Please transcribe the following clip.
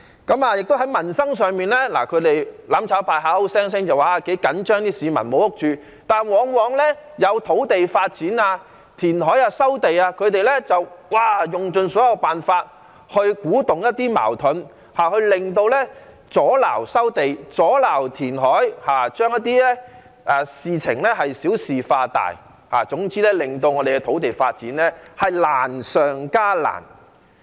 在民生上，"攬炒派"口口聲聲說很緊張市民沒有屋住，但往往當有土地發展、填海和收地計劃時，他們便用盡所有辦法去鼓動一些矛盾，阻撓收地和填海，把事情小事化大，總之令土地發展難上加難。